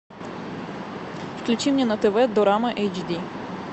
включи мне на тв дорама эйч ди